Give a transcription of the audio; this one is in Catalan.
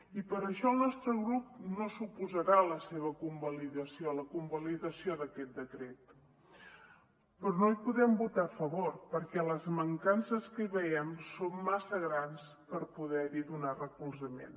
i per això el nostre grup no s’oposarà a la seva convalidació a la convalidació d’aquest decret però no hi podem votar a favor perquè les mancances que hi veiem són massa grans per poder hi donar recolzament